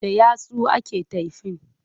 Da yatsu ake taifin.